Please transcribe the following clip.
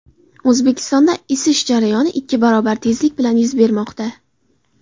O‘zbekistonda isish jarayoni ikki barobar tezlik bilan yuz bermoqda.